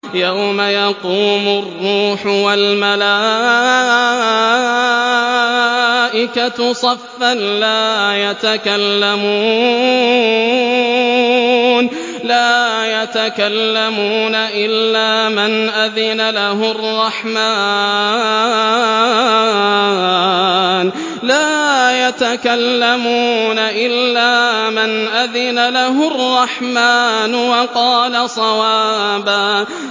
يَوْمَ يَقُومُ الرُّوحُ وَالْمَلَائِكَةُ صَفًّا ۖ لَّا يَتَكَلَّمُونَ إِلَّا مَنْ أَذِنَ لَهُ الرَّحْمَٰنُ وَقَالَ صَوَابًا